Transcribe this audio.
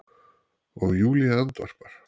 og Júlía andvarpar.